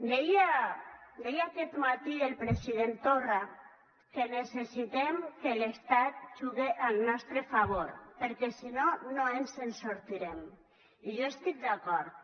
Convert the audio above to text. deia aquest matí el president torra que necessitem que l’estat jugue al nostre favor perquè si no no ens en sortirem i jo hi estic d’acord